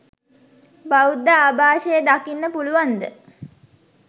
බෞද්ධ ආභාෂය දකින්න පුළුවන්ද?